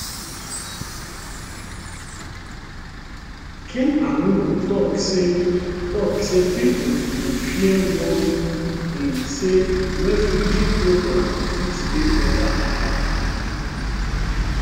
kinuani tok say tok say pipo dey fear worry dey say refugee programmes fit dey under attack